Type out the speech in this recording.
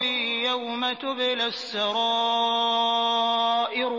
يَوْمَ تُبْلَى السَّرَائِرُ